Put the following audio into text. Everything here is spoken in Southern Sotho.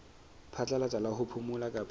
phatlalatsa la ho phomola kapa